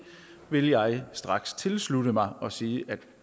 vil jeg straks tilslutte mig og sige at